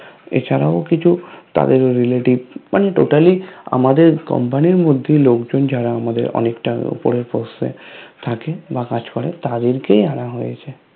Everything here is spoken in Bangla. এছাড়াও কিছু তাদের Relatives মানে Totally আমাদের Company র মধ্যেই লোকজন যারা আমাদের অনেকটা উপরের Post এ থাকে বা কাজ করে তাদেরকেই আনা হয়েছে